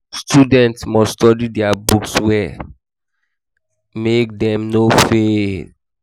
students must study their books well well make dem no fail